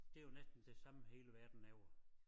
Det jo næsten det samme hele verden laver